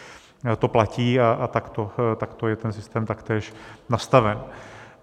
To platí a takto je ten systém taktéž nastaven.